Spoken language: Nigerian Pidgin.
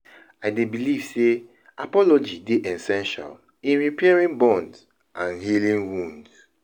I dey believe say apology dey essential in repairing bonds and healing wounds.